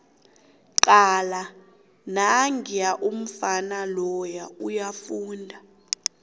cala nangiya umfana loya uyafunda